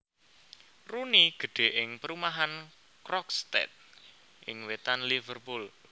Rooney gedhè ing perumahan Croxteth ing wètan Liverpool